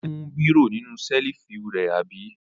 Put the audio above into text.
Ó mú bírò nínú ṣẹ́lífù rẹ, àbí?